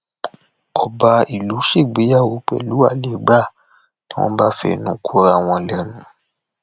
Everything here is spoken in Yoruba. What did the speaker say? ọba ìlú ṣègbéyàwó pẹlú àlégbà ni wọn bá fẹnu kora wọn lẹnu